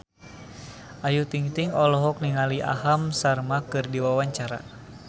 Ayu Ting-ting olohok ningali Aham Sharma keur diwawancara